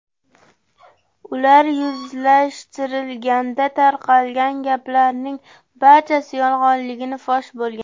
Ular yuzlashtirilganda tarqalgan gaplarning barchasi yolg‘onligi fosh bo‘lgan.